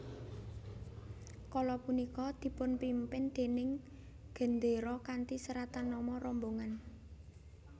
Kala punika dipunpimpin déning gendéra kanthi seratan nama rombongan